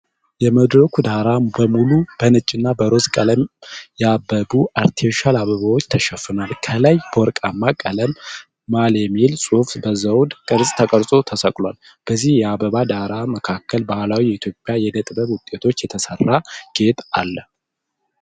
የመድረኩ ዳራ በሙሉ በነጭና በሮዝ ቀለም ያበቡ አርቲፊሻል አበባዎች ተሸፍኗል። ከላይ በወርቃማ ቀለም "ማል" የሚል ጽሑፍ በዘውድ ቅርጽ ተቀርጾ ተሰቅሏል። በዚህ የአበባ ዳራ መካከል በባህላዊ የኢትዮጵያ የእደ ጥበብ ውጤቶች የተሰራ ጌጥ አለ።